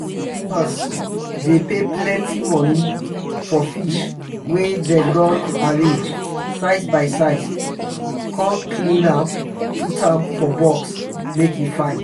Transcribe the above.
customers dey pay plenty money for fish wey dem don arrange size by size come clean am put for box um make e fine.